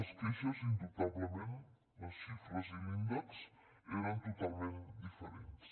les queixes indubtablement les xifres i l’índex eren totalment diferents